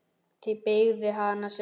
Þið byggðuð hann sjálf.